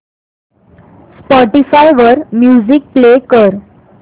Spotify वर music play कर